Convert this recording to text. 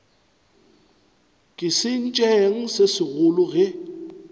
ke sentšeng se segolo ge